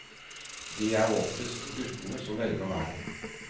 Det er oftest guttene som velger verden.